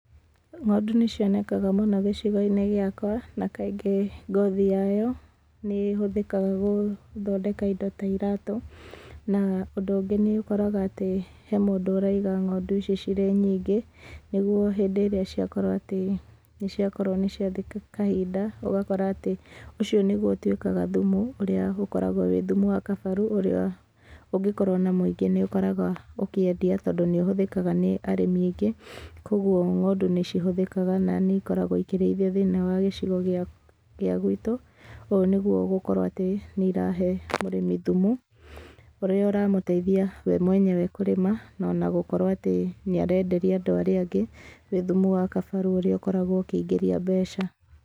Ng'ondu nĩ cionekaga mũno gĩcigo-inĩ gĩakwa, na kaingĩ, ngothi yayo, nĩ hũthĩkaga gũthondeka indo ta iratũ, na ũndũ ũngĩ, nĩ ũkoraga atĩ, he mũndũ ũraiga ng'ondũ icio irĩ nyingĩ, nĩguo hĩndĩ ĩrĩa ciakorwo atĩ nĩciakorwo nĩciathiĩ kahinda, ũgakora atĩ, ũcio nĩguo ũtwĩkaga thumu, ũrĩa ũkoragwo wĩ thumu wa kabaru, ũrĩa, ũngĩkorũo na mũingĩ, nĩũkoraga ũkĩendia , tondũ nĩ ũhũthĩkaga nĩ arĩmi aingĩ, kwogwo ng'ondu nĩcihũthĩkaga na nĩikoragwo ikĩrĩithio thĩinĩ wa gĩcigo gĩakw, gĩa gwitũ, ũũ nĩguo gũkorwo atĩ, nĩirahe arĩmi thumu, ũrĩa ũramũteithia we mwenyewe kũrĩma ona gũkorwo atĩ nĩ arenderia andũ arĩa angĩ, nĩ thumu wa kabaru ũrĩa ũkoragwo ũkĩingĩria mbeca.